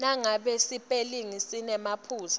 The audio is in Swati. nangabe sipelingi sinemaphutsa